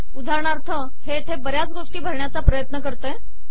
उदाहरणार्थ हे येथे बऱ्याच गोष्टी भरण्याचा प्रयत्न करते